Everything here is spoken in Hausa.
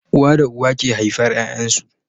Uwa da uba ke haifar Yayan su